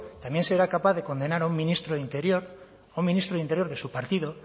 también será capaz de condenar a un ministro de interior a un ministro de interior de su partido